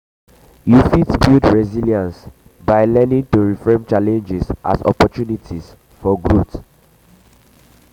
you um fit build resilience by um learning um to reframe challenges as opportunities for growth.